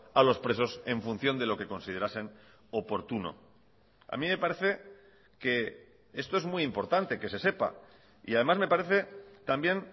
a los presos en función de lo que considerasen oportuno a mí me parece que esto es muy importante que se sepa y además me parece también